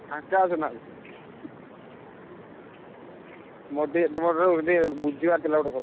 ଫାଙ୍କା ଅଛ ନା? ମୋର ଟିକେ ତମଠାରୁ ଟିକେ ବୁଝିବାର ଥିଲା ଗୋଟେ କଥା।